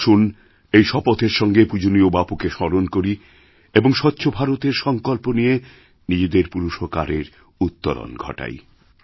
আসুন এই শপথেরসঙ্গে পূজনীয় বাপুকে স্মরণ করি এবং স্বচ্ছ ভারতের সঙ্কল্প নিয়ে নিজেদের পুরুষকারেরউত্তরণ ঘটাই